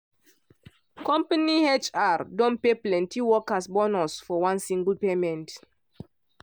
company hr don pay plenty worker bonus for one single payment.